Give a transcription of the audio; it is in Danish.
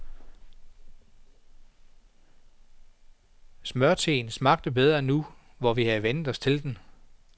Smørteen smager bedre nu hvor vi har vænnet os til den.